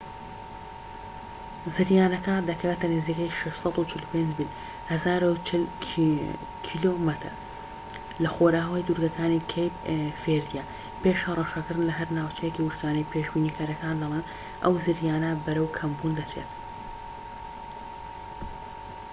زریانەکە دەکەوێتە نزیکەی 645 میل 1040 کم لەخۆرئاوای دوورگەکانی کەیپ ڤێردییە، پێش هەڕەشەکردن لەهەر ناوچەیەکی وشکانی، پێشبینیکەرەکان دەڵێن، ئەو زریانە بەرەو کەمبوون دەچێت‎